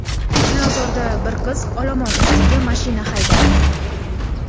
Chilonzorda bir qiz olomon ustiga mashina haydadi.